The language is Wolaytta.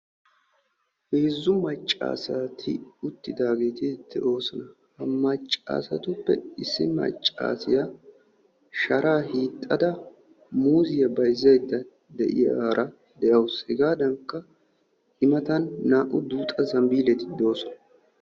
Heezzu maccaasati uttidaageeti de'oosona. Ha maccaasatuppe issi maccaasiya sharaa hiixxada muuziya bayzzaydda de'iyaara de'awusu. Hegaadankka i matan naa''u duuxa zambbiileti doosona